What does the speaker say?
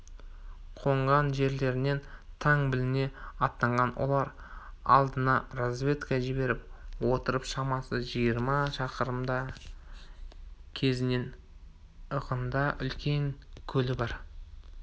қонған жерлерінен тан біліне аттанған олар алдына разведка жіберіп отырып шамасы жиырма шақырымдар кезінен ығында үлкен көлі бар